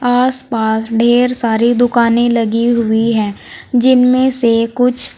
आसपास ढेर सारी दुकानें लगी हुई हैं जिनमें से कुछ--